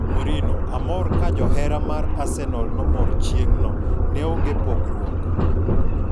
Mourinho: Amor ka johera mar Arsenal nomor chieng'no, neonge pogruok.